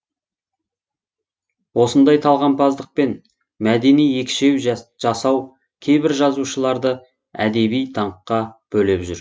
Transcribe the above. осындай талғампаздықпен мәдени екшеу жасау кейбір жазушыларды әдеби даңққа бөлеп жүр